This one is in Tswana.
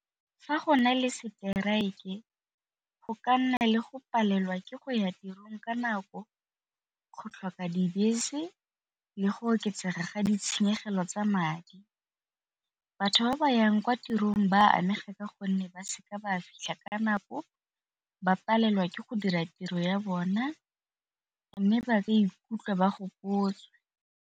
Fa go na le strike go ka nna le go palelwa ke go ya tirong ka nako, go tlhoka dibese le go oketsega ga ditshenyegelo tsa madi. Batho ba ba yang kwa tirong ba amega ka gonne ba seka ba fitlha ka nako ba palelwa ke go dira tiro ya bona mme ba ikutlwa ba gopotswe.